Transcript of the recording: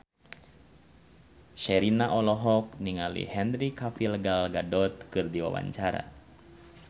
Sherina olohok ningali Henry Cavill Gal Gadot keur diwawancara